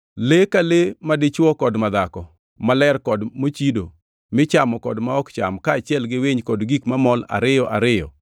Le ka le madichwo kod madhako maler kod mochido, michamo kod ma ok cham, kaachiel gi winy kod gik mamol ariyo ariyo,